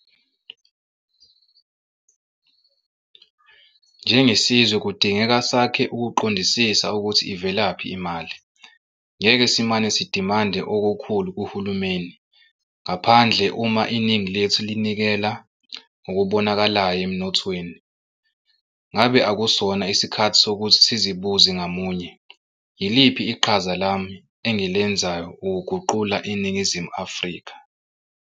Njengesizwe kudingeka sakhe ukuqondisisa ukuthi ivelaphi imali - ngeke simane sidimande okukhulu kuhulumeni ngaphandle uma iningi lethu linikela ngokubonakalayo emnothweni. Ngabe akusona isikhathi sokuthi sizibuze ngamunye - "yiliphi iqhaza lami engilenzayo ukuguqula iNingizimu Afrika?"